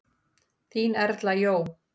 Þín Erla Jó.